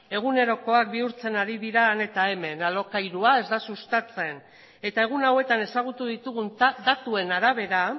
egunerokoak bihurtzen ari dira han eta hemen alokairua ez da sustatzen eta egun hauetan ezagutu ditugun datuen arabera